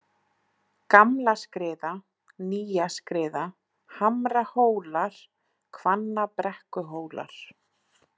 Gamlaskriða, Nýjaskriða, Hamrahólar, Hvannabrekkuhólar